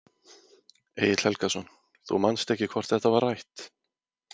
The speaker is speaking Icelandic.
Egill Helgason: Þú manst ekki hvort þetta var rætt?